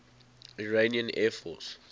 iranian air force